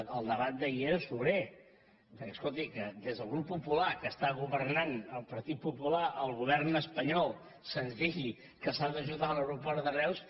el debat d’ahir era sobrer perquè escolti que des del grup popular que està governant el partit popular al govern espanyol se’ns digui que s’ha d’ajudar l’aeroport de reus